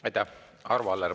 Aitäh!